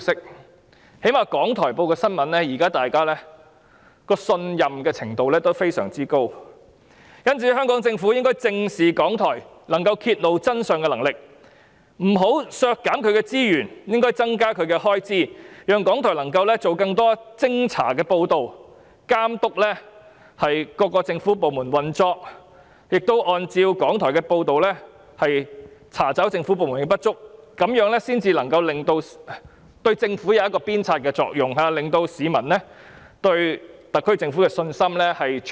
最低限度，大家對港台新聞報道的信任度非常高，因此香港政府應正視港台揭露真相的能力，不能削減其資源，反而應該增加預算開支，讓港台能夠製作更多偵查報道，監督各政府部門的運作，並按照港台的報道，查找政府部門的不足，這樣才能發揮鞭策政府的作用，從而重建市民對特區政府的信心。